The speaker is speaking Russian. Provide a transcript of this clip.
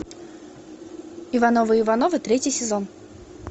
ивановы ивановы третий сезон